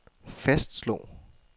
fastslog